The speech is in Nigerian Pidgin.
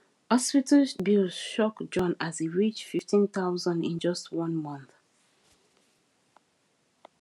hospital bills shock john as he reach 15000 in just one month